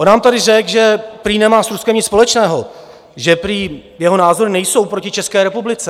On nám tady řekl, že prý nemá s Ruskem nic společného, že prý jeho názory nejsou proti České republice.